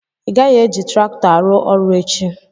Ịgaghị eji traktọ arụ ọrụ echi!